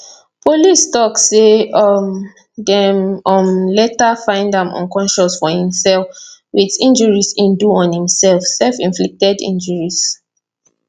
police tok say um dem um later find am unconscious for im cell wit injuries e do on himself selfinflicted injuries